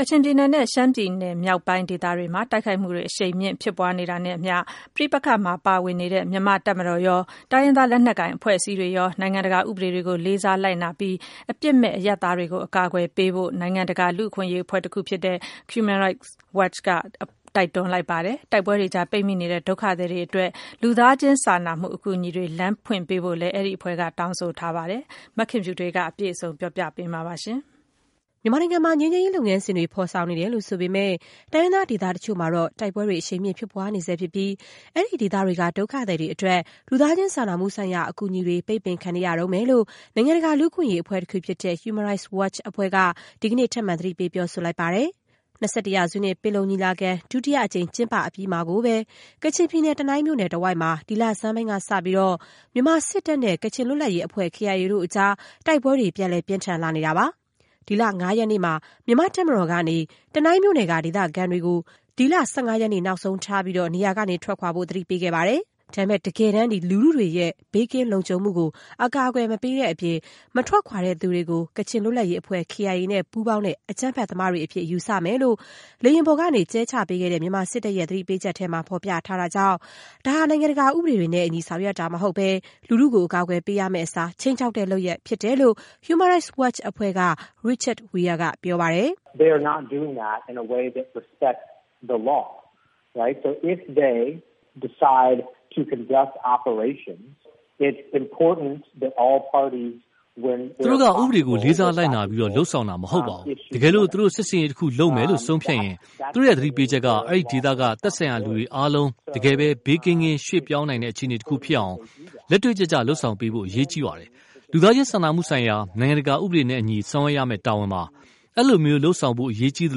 ကချင်ပြည်နယ်နဲ့ ရှမ်းပြည်နယ်မြောက်ပိုင်း ဒေသတွေမှာ တိုက်ခိုက်မှုတွေ အရှိန်မြှင့် ဖြစ်ပွားနေတာနဲ့အမျှ ပဋိပက္ခမှာ ပါဝင်နေတဲ့ မြန်မာ့တပ်မတော်ရော၊ တိုင်းရင်းသား လက်နက်ကိုင် အဖွဲ့အစည်းတွေရော နိုင်ငံတကာဥပဒေတွေကို လေးစားလိုက်နာပြီး အပြစ်မဲ့ အရပ်သားတွေကို အကာအကွယ်ပေးဖို့ နိုင်ငံတကာ လူ့အခွင့်အရေးအဖွဲ့ တခုဖြစ်တဲ့ Human Rights Watch အဖွဲ့က တိုက်တွန်း လိုက်ပါတယ်။ တိုက်ပွဲတွေကြား ပိတ်မိနေတဲ့ ဒုက္ခသည်တွေ အတွက် လူသားချင်းစာနာမှု အကူအညီတွေ လမ်းဖွင့်ပေးဖို့လည်း ဒီအဖွဲ့က တောင်းဆိုပါတယ်။ မခင်ဖြူထွေးက အပြည့်စုံတင်ပြပေးပါမယ်။ မြန်မာနိုင်ငံမှာ ငြိမ်းချမ်းရေးလုပ်ငန်းစဉ်တွေ ဖော်ဆောင်နေတယ်လို့ ဆိုပေမဲ့ တိုင်းရင်းသားဒေသတချို့မှာတော့ တိုက်ပွဲတွေ အရှိန်မြင့် ဖြစ်ပွားနေဆဲ ဖြစ်ပြီး အဲဒီဒေသတွေက ဒုက္ခသည်တွေအတွက် လူသားချင်းစာနာမှုဆိုင်ရာ အကူအညီတွေ ပိတ်ပင်ခံနေရတုန်းပဲလို့ နိုင်ငံတကာ လူ့အခွင့်အရေးအဖွဲ့ တခုဖြစ်တဲ့ Human Rights Watch အဖွဲ့က ဒီကနေ့ ထပ်မံ သတိပေး ပြောဆိုလိုက်ပါတယ်။ ၂၁ ရာစု ပင်လုံညီလာခံ ဒုတိယအကြိမ် ကျင်းပအပြီးမှာကိုပဲ ကချင်ပြည်နယ် တနိုင်းမြို့နယ်တဝိုက်မှာ ဒီလဆန်းပိုင်းကစလို့ မြန်မာစစ်တပ်နဲ့ ကချင်လွတ်လပ်ရေးအဖွဲ့ KIA တို့အကြား တိုက်ပွဲတွေ ပြန်လည် ပြင်းထန်လာနေတာပါ။ ဒီလ ၅ ရက်နေ့မှာ မြန်မာ့တပ်မတော်ကနေ တနိုင်းမြို့နယ်က ဒေသခံတွေကို ဒီလ ၁၅ ရက်နေ့ နောက်ဆုံးထားပြီး နေရာကနေ ထွက်ခွာဖို့ သတိပေးခဲ့ပါတယ်။ ဒါပေမဲ့ တကယ်တမ်း လူထုတွေရဲ့ ဘေးကင်းလုံခြုံမှုကို အကာအကွယ် မပေးတဲ့အပြင် မထွက်ခွာသူတွေကို ကချင်လွတ်လပ်ရေးအဖွဲ့ KIA နဲ့ ပူးပေါင်းတဲ့ အကြမ်းဖက်သမားတွေ အဖြစ် ယူဆမယ်လို့ လေယာဉ်ပေါ်ကနေ ကျဲချပေးခဲ့တဲ့ မြန်မာစစ်တပ်ရဲ့ သတိပေးချက်ထဲမှာ ဖော်ပြထားတာကြောင့် ဒါဟာ နိုင်ငံတကာ ဥပဒေတွေနဲ့ အညီ ဆောင်ရွက်တာ မဟုတ်ဘဲ၊ လူထုကို အကာအကွယ်ပေးမယ့်အစား ခြိမ်းခြောက်တဲ့လုပ်ရပ် ဖြစ်တယ်လို့ Human Rights Watch အဖွဲ့က Richard Weir က ပြောပါတယ်။ “သူတို့က ဥပေဒကို လေးစားလိုက်နာပြီး လုပ်ဆောင်တာ မဟုတ်ပါဘူး။ တကယ်လို့ သူတို့ စစ်ဆင်ရေးတခု လုပ်မယ်လို့ ဆုံးဖြတ်ရင် သူတို့ရဲ့သတိပေးချက်က အဲဒီဒေသက သက်ဆိုင်ရာလူတွေအားလုံး တကယ်ပဲ ဘေးကင်းကင်း ရွှေ့ပြောင်းနိုင်တဲ့ အခြေအနေတခု ဖြစ်အောင် လက်တွေ့ကျကျ လုပ်ဆောင်ပေးဖို့ အရေးကြီပါတယ်။ လူသားချင်းစာမှုဆိုင်ရာ နိုင်ငံတကာဥပဒေနဲ့အညီ ဆောင်ရွက်ရမယ့် တာဝန်ပါ။ အဲဒီလိုလုပ်ဆောင်ဖို့ အရေးကြီးသ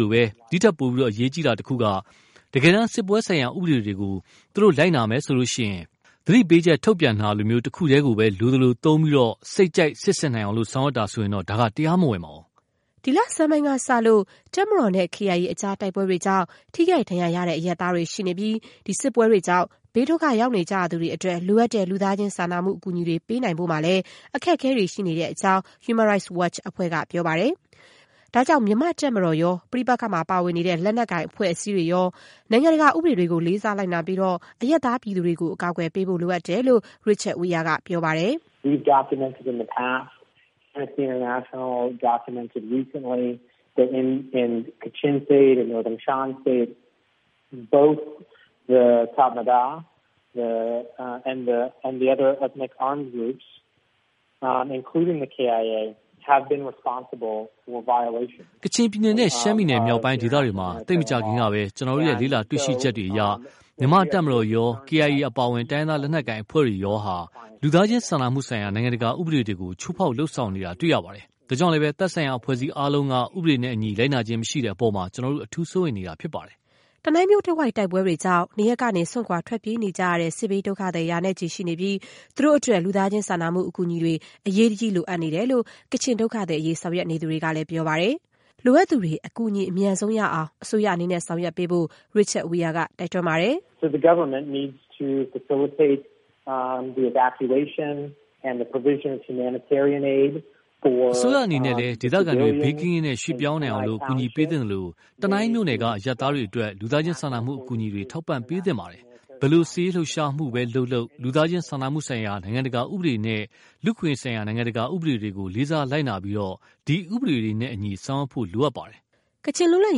လို၊ ဒီ့ထက်ပိုပြီး အရေးကြီးတာတခုက - တကယ်တမ်း စစ်ပွဲဆိုင်ရာ ဥပဒေတွေကို သူတို့ လိုက်နာမယ်ဆိုရင် သတိပေးချက် ထုတ်ပြန်တာလို တခုတည်းကိုပဲ လိုသလိုသုံးပြီး သူတို့ စိတ်ကြိုက် စစ်ဆင်နိုင်အောင် ဆောင်ရွက်တာဆိုရင်တော့ ဒါက တရားမဝင်ပါဘူး။” ဒီလဆန်းပိုင်းကစလို့ တပ်မတော်နဲ့ KIA ကြား တိုက်ပွဲတွေကြောင့် ထိခိုက်ဒဏ်ရာရတဲ့ အရပ်သားတွေ ရှိနေပြီး စစ်ပွဲတွေကြောင့် ဘေးဒုက္ခရောက်နေသူတွေ အတွက် လိုအပ်တဲ့ လူသားချင်းစာနာမှု အကူအညီတွေ ပေးနိုင်ဖို့မှာလည်း အခက်အခဲတွေ ရှိနေတဲ့အကြောင်း Human Rights Watch အဖွဲ့က ပြောပါတယ်။ ဒါကြောင့် မြန်မာတပ်မတော်ရော၊ ပဋိပက္ခမှာ ပါဝင်နေတဲ့ လက်နက်ကိုင်အဖွဲ့တွေရော နိုင်ငံတကာ ဥပဒေတွေကို လေးစားလိုက်နာပြီး အရပ်သားပြည်သူတွေကို အကာအကွယ်ပေးဖို့ လိုအပ်တယ်လို့ Richard Weir က ပြောပါတယ်။ “ကချင်ပြည်နယ်နဲ့ ရှမ်းပြည်မြောက်ပိုင်း ဒေသတွေမှာ သိပ်မကြာခင်ကပဲ ကျနော်တို့ လေ့လာတွေ့ရှိချက်တွေအရ မြန်မာ့ တပ်မတော်ရော၊ KIA အပါအဝင် တိုင်းရင်းသားလက်နက်ကိုင် အဖွဲ့တွေရောဟာ လူသားချင်းစာနာမှုဆိုင်ရာ နိုင်ငံတကာဥပဒေကို ချိုးဖောက်လုပ်ဆောင် နေတာ တွေ့ရပါတယ်။ ဒါကြောင့်လည်း သက်ဆိုင်ရာ အဖွဲ့အစည်းအားလုံးက ဥပဒေနဲ့အညီ လိုက်နာခြင်းမရှိတဲ့ အပေါ်မှာ ကျနော်တို့ အထူး စိုးရိမ်တာဖြစ်ပါတယ်။” တနိုင်းမြို့တဝိုက် တိုက်ပွဲတွေကြောင့် နေရပ်ကနေ စွန့်ခွာ ထွက်ပြေးနေကြရတဲ့ စစ်ဘေးဒုက္ခသည် ရာနဲ့ချီ ရှိနေပြီး သူတို့အတွက် လူသားချင်းစာနာမှု အကူအညီတွေ အရေးတကြီးလိုအပ်နေတယ်လို့ ကချင် ဒုက္ခသည်အရေး ဆောင်ရွက်နေသူတွေကလည်း ပြောပါတယ်။ လိုအပ်သူတွေ အကူအညီ အမြန်ဆုံးရအောင် အစိုးရအနေနဲ့ ဆောင်ရွက်ပေးဖို့ Richard Weir က တိုက်တွန်းပါတယ်။ “အစိုးရအနေနဲ့လည်း ဒေသခံတွေ ဘေးကင်းကင်းနဲ့ ရွှေ့ပြောင်းနိုင်အောင် ကူညီပေးသင့်သလို၊ တနိုင်းမြို့နယ်က အရပ်သားတွေ အတွက် လူသားချင်းစာနာမှု အကူအညီတွေ ထောက်ပံ့ပေးသင့်ပါတယ်။ ဘယ်လို စစ်ရေးလှုပ်ရှားမှုပဲ လုပ်လုပ် လူသားချင်း စာနာမှုဆိုင်ရာ နိုင်ငံတကာဥပဒေနဲ့ လူ့အခွင့်အရေးဆိုင်ရာ နိုင်ငံတကာဥပဒေတွေကို လေးစား လိုက်နာပြီး ဒီဥပဒေတွေနဲ့အညီ ဆောင်ရွက်ဖို့ လိုအပ်ပါတယ်။” ကချင်လွတ်လပ်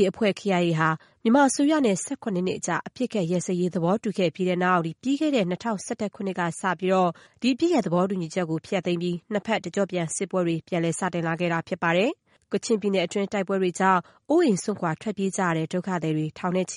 ရေးတပ်ဖွဲ့ KIA ဟာ မြန်မာအစိုးရနဲ့ ၁၇ နှစ်ကြာ အပစ်အခတ်ရပ်စဲရေး သဘောတူခဲ့ပြီးတဲ့နောက် ပြီးခဲ့တဲ့ ၂၀၁၁ ခုနှစ်ကစလို့ ဒီအပစ်ရပ် သဘောတူညီချက်ကို ဖျက်သိမ်းပြီး နှစ်ဘက် တကျော့ပြန်စစ်ပွဲတွေ ပြန်စလာခဲ့တာဖြစ်ပါတယ်။ ကချင်ပြည်နယ်တွင်း တိုက်ပွဲတွေကြောင့် အိုးအိမ်စွန့်ခွာ ထွက်ပြေးရတဲ့ ဒုက္ခသည်တွေ ထောင်နဲ့ချီ